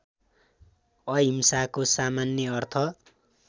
अहिंसाको सामान्य अर्थ